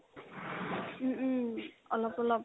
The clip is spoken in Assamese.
উম উম অলপ অলপ